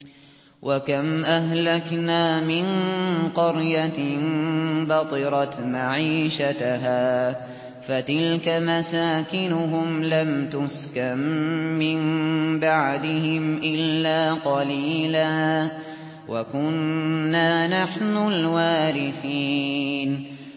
وَكَمْ أَهْلَكْنَا مِن قَرْيَةٍ بَطِرَتْ مَعِيشَتَهَا ۖ فَتِلْكَ مَسَاكِنُهُمْ لَمْ تُسْكَن مِّن بَعْدِهِمْ إِلَّا قَلِيلًا ۖ وَكُنَّا نَحْنُ الْوَارِثِينَ